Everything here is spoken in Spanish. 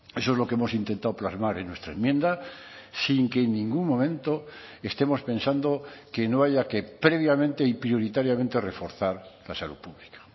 eso es lo que hemos intentado plasmar en nuestra enmienda sin que en ningún momento estemos pensando que no haya que previamente y prioritariamente reforzar la salud pública